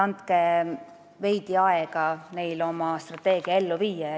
Andke neile veidi aega oma strateegia ellu viia.